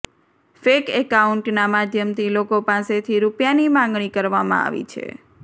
fake એકાઉન્ટના માધ્યમથી લોકો પાસેથી રૂપિયાની માંગણી કરવામાં આવી છે